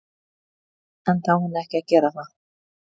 Enda á hún ekki að gera það.